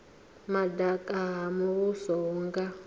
madaka ha muvhuso hu nga